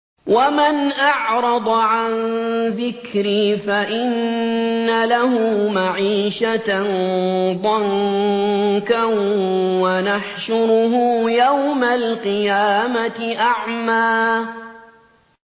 وَمَنْ أَعْرَضَ عَن ذِكْرِي فَإِنَّ لَهُ مَعِيشَةً ضَنكًا وَنَحْشُرُهُ يَوْمَ الْقِيَامَةِ أَعْمَىٰ